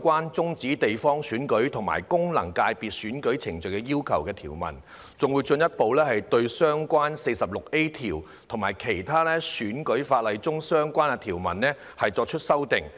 關"終止地方選區及功能界別選舉程序的要求"的條文，更會進一步對相關的第 46A 條及其他選舉法例中的相關條文作出修訂。